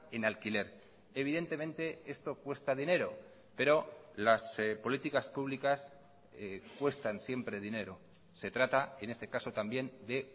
en alquiler evidentemente esto cuesta dinero pero las políticas públicas cuestan siempre dinero se trata en este caso también de